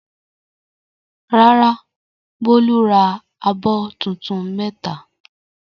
Rárá, Bólú ra abọ́ tuntun mẹ́ta.